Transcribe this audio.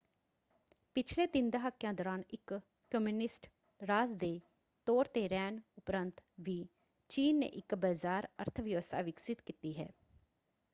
ਪਿਛਲੇ ਤਿੰਨ ਦਹਾਕਿਆ ਦੌਰਾਨ ਇਕ ਕਮਿਊਨਿਸਟ ਰਾਜ ਦੇ ਤੌਰ 'ਤੇ ਰਹਿਣ ਉਪਰੰਤ ਵੀ ਚੀਨ ਨੇ ਇਕ ਬਜ਼ਾਰ ਅਰਥ-ਵਿਵਸਥਾ ਵਿਕਸਿਤ ਕੀਤੀ ਹੈ।